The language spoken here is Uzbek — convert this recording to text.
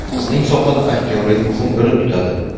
Bizning sohada aktyorlik muhim o‘rin tutadi.